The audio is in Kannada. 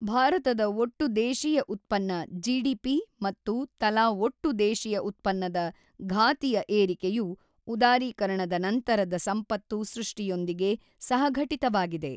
ಭಾರತದ ಒಟ್ಟು ದೇಶೀಯ ಉತ್ಪನ್ನ ಜಿಡಿಪಿ ಮತ್ತು ತಲಾ ಒಟ್ಟು ದೇಶೀಯ ಉತ್ಪನ್ನದ ಘಾತಿಯ ಏರಿಕೆಯು ಉದಾರೀಕರಣದ ನಂತರದ ಸಂಪತ್ತು ಸೃಷ್ಟಿಯೊಂದಿಗೆ ಸಹಘಟಿತವಾಗಿದೆ.